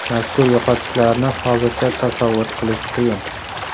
Mazkur yo‘qotishlarni hozircha tasavvur qilish qiyin.